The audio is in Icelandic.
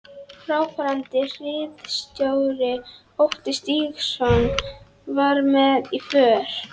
Fráfarandi hirðstjóri, Otti Stígsson, var með í för.